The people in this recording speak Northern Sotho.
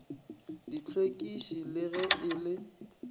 dihlwekiši le ge e le